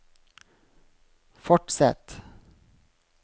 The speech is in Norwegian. fortsett